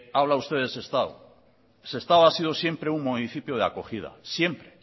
habla usted de sestao sestao ha sido siempre un municipio de acogida siempre